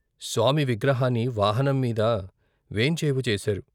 స్వామి విగ్రహాన్ని వాహనం మీద వేంచేపు చేశారు.